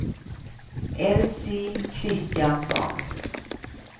Elsie Kristiansson